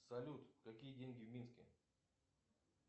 салют какие деньги в минске